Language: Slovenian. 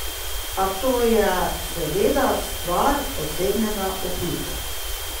A to je seveda stvar osebnega okusa.